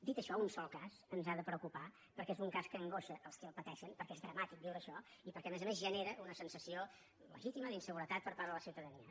dit això un sol cas ens ha de preocupar perquè és un cas que angoixa els qui el pateixen perquè és dramàtic viure això i perquè a més a més genera una sensació legítima d’inseguretat per part de la ciutadania